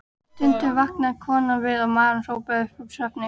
Stundum vaknaði konan við að maðurinn hrópaði upp úr svefni: